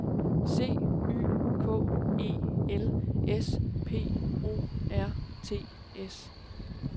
C Y K E L S P O R T S